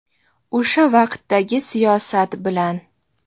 O‘sha vaqtdagi siyosat bilan.